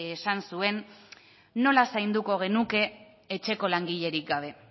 esan zuen nola zainduko genuke etxeko langilerik gabe